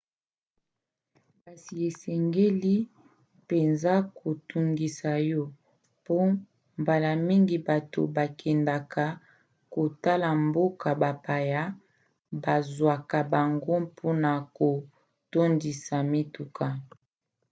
kasi esengeli mpenza kotungisa yo mpo mbala mingi bato bakendaka kotala mboka bapaya bazwaka bango mpona kotondisa mituka